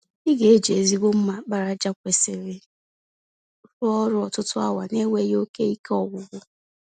Ị ga eji ezigbo mma àkpàràjà kwesịrị rụọ ọrụ ọtụtụ awa n'enweghị oke ike ọgwụgwụ.